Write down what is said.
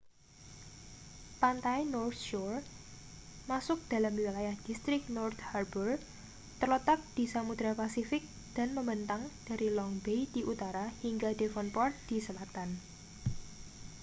pantai north shore masuk dalam wilayah distrik north harbour terletak di samudra pasifik dan membentang dari long bay di utara hingga devonport di selatan